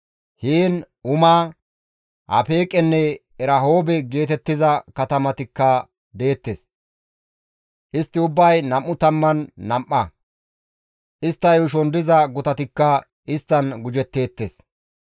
Heen Uma, Afeeqenne Erahoobe geetettiza katamatikka deettes. Istti ubbay 22; istta yuushon diza gutatikka isttan gujetteettes.